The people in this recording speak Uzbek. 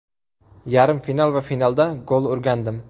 Yarim final va finalda gol urgandim.